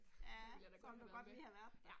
Der ville jeg da godt have været med, ja